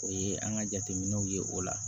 O ye an ka jateminɛw ye o la